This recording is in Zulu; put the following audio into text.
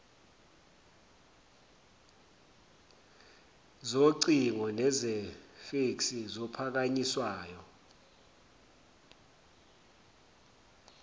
zocingo nezefeksi zophakanyiswayo